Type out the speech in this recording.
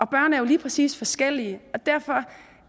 børn er jo lige præcis forskellige og derfor